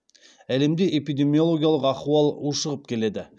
әлемде эпидемиологиялық ахуал ушығып келеді